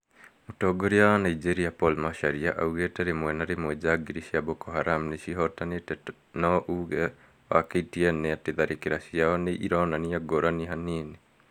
Mũtongori wa Nigeria Paul Macharia, augĩte rĩmwe na rĩmwe njagiri cia Boko Haram nicihotanĩte no uge wa KTN nĩ atĩ tharĩkĩra ciao nĩ ironania ngũrani hanini